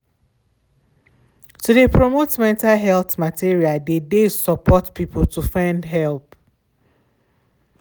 to de promote mental health material de de support people to find help.